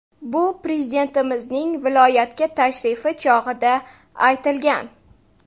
Bu Prezidentimizning viloyatga tashrifi chog‘ida aytilgan.